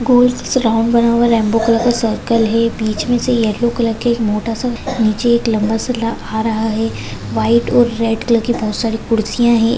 गोल round बना हुआ rainbow colour का सर्कल है बीच मे एक येल्लो कलरका एक मोठासा नीचे एक लंबा शल्ला आ रहा है व्हाइट और रेड कलर की बहुत सारी खुर्चिया है।